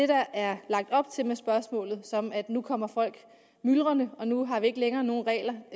der er lagt op til med spørgsmålet som at nu kommer folk myldrende og nu har vi ikke længere nogen regler